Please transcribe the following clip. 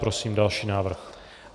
Prosím další návrh.